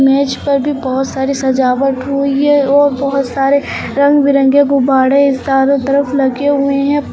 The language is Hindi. मेज पर भी बहुत सारी सजावट हुई है और बहुत सारे रंग बिरंगे गुब्बाडे चारों तरफ लगे हुए हैं।